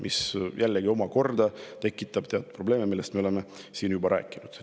Aga see omakorda tekitab probleeme, millest me oleme siin juba rääkinud.